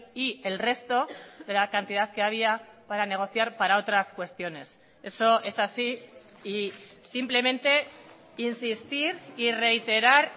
y el resto de la cantidad que había para negociar para otras cuestiones eso es así y simplemente insistir y reiterar